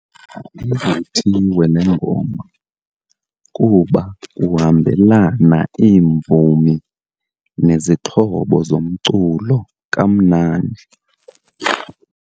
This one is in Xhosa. Ivuthiwe le ngoma kuba kuhambelana iimvumi nezixhobo zomculo kamnandi.